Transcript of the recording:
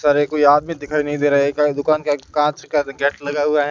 सारे कोई आदमी दिखाई नहीं दे रहा है एक दुकान के आगे कांच का गेट लगा हुआ है।